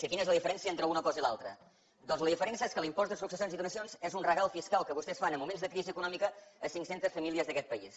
quina és la diferència entre una cosa i l’altra doncs la diferència és que l’impost de successions i donacions és un regal fiscal que vostès fan en moments de crisi econòmica a cinc centes famílies d’aquest país